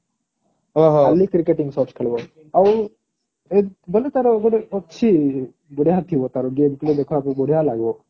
ଖାଲି cricketing shot ଖେଳିବ ଆଉ ବୋଲେ ତାର ଗୋଟେ ଅଛି ବଢିଆ ଥିବା ତାର game play ଦେଖ ଆଗକୁ ବଢିଆ ଲାଗିବ।